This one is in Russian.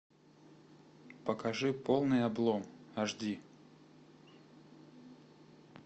покажи полный облом аш ди